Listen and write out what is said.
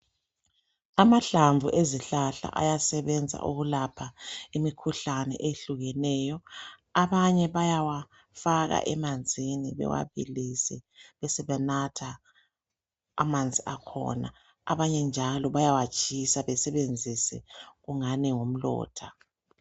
Amahlamvu ezihlahla ayasebenza ukulapha imikhuhlane ehlukeneyo. Abanye bayawafaka emanzini bewabilise besebenatha amanzi akhona .Abanye njalo bayawatshisa besebenzise okungani ngumlotha .